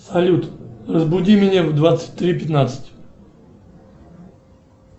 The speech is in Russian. салют разбуди меня в двадцать три пятнадцать